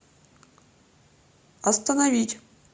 остановить